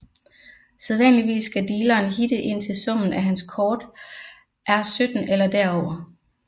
Sædvanligvis skal dealeren hitte indtil summen af hans kort er 17 eller derover